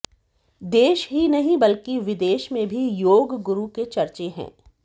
देश ही नहीं बल्कि विदेश में भी योगगुरु के चर्चे हैं